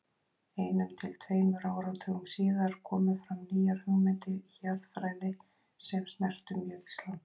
Einum til tveimur áratugum síðar komu fram nýjar hugmyndir í jarðfræði sem snertu mjög Ísland.